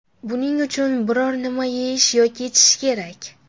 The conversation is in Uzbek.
Buning uchun biron-nima yeyish yoki ichish kerak.